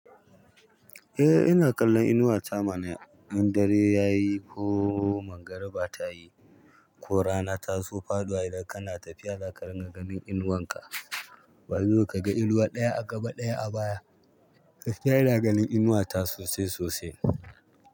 Eh, ina kallon inuwa ta mana. In dare yayi ko mangariba ta yi ko rana ta zo faɗuwa, idan kana tafiya zaka ringa ganin inuwan ka. Ba dole kaga inuwa ɗaya a gaba ɗaya a baya. Gaskiya inq ganin inuwa ta sosai sosai.